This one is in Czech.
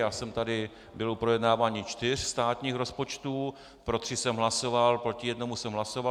Já jsem tady byl u projednávání čtyř státních rozpočtů, pro tři jsem hlasoval, proti jednomu jsem hlasoval.